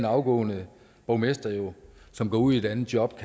afgående borgmester som går ud i et andet job